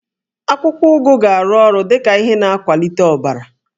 Akwụkwọ ụgụ na-arụ ọrụ dị ka ihe na-akwalite ọbara